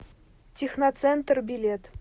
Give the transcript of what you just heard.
техноцентр билет